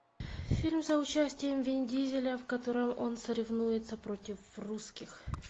фильм с участием вин дизеля в котором он соревнуется против русских